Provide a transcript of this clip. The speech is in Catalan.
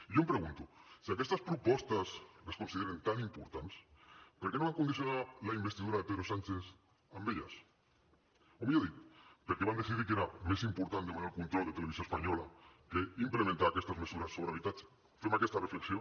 i jo em pregunto si aquestes propostes es consideren tan importants per què no van condicionar la investidura de pedro sánchez amb elles o millor dit per què van decidir que era més important demanar el control de televisió espanyola que implementar aquestes mesures sobre habitatge fem aquesta reflexió